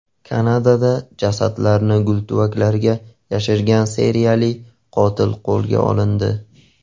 Kanadada jasadlarni gultuvaklarga yashirgan seriyali qotil qo‘lga olindi.